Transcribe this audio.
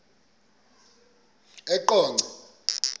eqonco